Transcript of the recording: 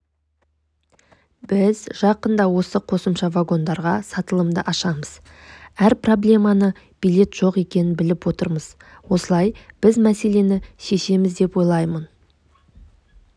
біз жақында осы қосымша вагондарға сатылымды ашамыз әр проблеманы билет жоқ екенін біліп отырмыз осылай біз мәслені шешеміз деп ойлаймын